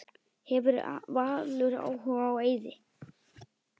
Hefur Valur áhuga á Eiði?